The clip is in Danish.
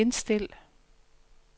indstil